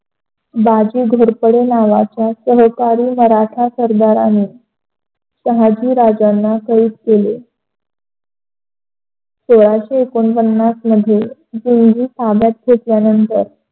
बाजी घोरपडे नावाचा सहकारी मराठा सरदाराने शहाजी राज्याला शहीद केले. सोळाशे एकोन्प्न्नास मध्ये खुन्जी ताब्यात घेतल्यानंतर